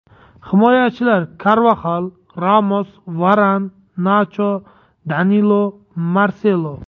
Himoyachilar: Karvaxal, Ramos, Varan, Nacho, Danilo, Marselo.